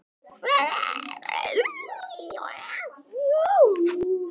Þau væru enda tengd.